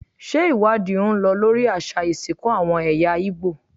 Ṣé ìwádìí ń lọ lórí àṣà ìsìnkú àwọn ẹ̀yà Ìgbò?